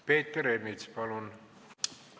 Peeter Ernits, palun!